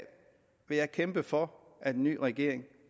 vil jeg kæmpe for at en ny regering